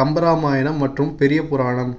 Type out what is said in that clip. கம்பராமாயணம் மற்றும் பெரிய புராணம்